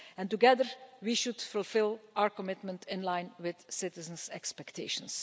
Together we should fulfil our commitment in line with citizens' expectations.